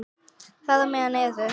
Þar á meðal eru